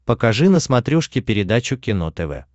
покажи на смотрешке передачу кино тв